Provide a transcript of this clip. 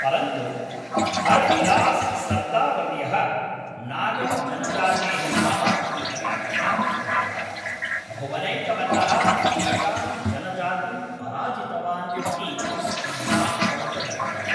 परन्तु हर् बिलास् सर्दावर्यः नागं जनजातेः नाम इति व्याख्यां कृतवान्, भुवनैकमल्लः एतां जनजातिं पराजितवान् इति सिद्धान्तं च दत्तवान्।